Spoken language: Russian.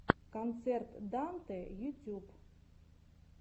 концерт дантэ ютюб